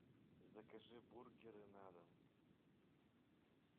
закажи бургеры на дом